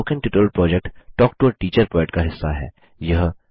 spoken tutorial project talk to a teacher project का हिस्सा है